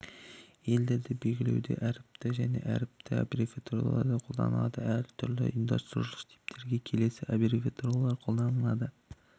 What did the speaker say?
елдерді белгілеуде әріпті және әріпті аббревиатуралар қолданылады әрүрлі ұйымдастырушылық типтерге келесі аббревиатуралар қолданылады